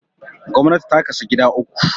Gwamnti ta kasu gida uku